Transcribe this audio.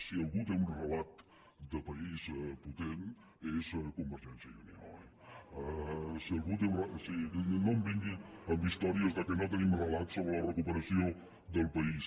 si algú té un relat de país potent és convergència i unió eh vingui amb històries que no tenim relat sobre la recuperació del país